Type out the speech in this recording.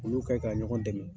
Olu kɛ ka ɲɔgɔn dɛmɛ.